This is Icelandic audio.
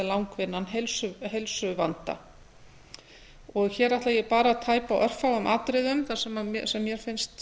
langvinnan heilsuvanda hér ætla ég bara að tæpa á örfáum atriðum sem mér finnst